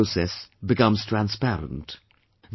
The entire process becomes transparent